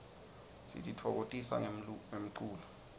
sititfokotisa ngemlulo